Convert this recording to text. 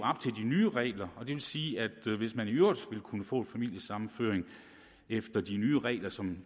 nye regler det vil sige at hvis man i øvrigt ville kunne få en familiesammenføring efter de nye regler som